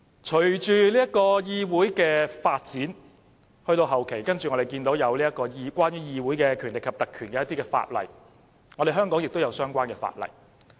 隨着議會的發展，到了後期，我們看見關於議會權力及特權的法例，香港亦有相關法例。